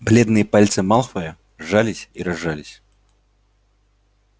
бледные пальцы малфоя сжались и разжались